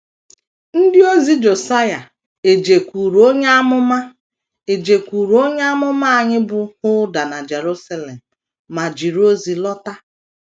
Ndị ozi Josaịa ejekwuru onye amụma ejekwuru onye amụma nwanyị bụ́ Hulda na Jerusalem ma jiri ozi lọta.